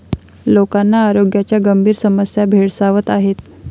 लोकांना आरोग्याच्या गंभीर समस्या भेडसावत आहेत.